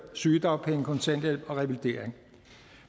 sygedagpenge kontanthjælp og revalidering